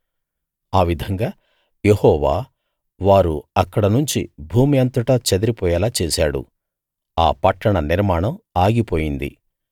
ఆ విధంగా యెహోవా వారు అక్కడ నుంచి భూమి అంతటా చెదిరిపోయేలా చేశాడు ఆ పట్టణ నిర్మాణం ఆగిపోయింది